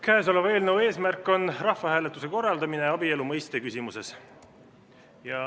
Käesoleva eelnõu eesmärk on rahvahääletuse korraldamine abielu mõiste küsimuses.